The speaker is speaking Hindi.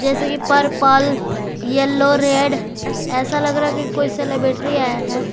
जैसे कि पर्पल येलो रेड ऐसा लग रहा है कि कोई सेलिबेटरी आया है।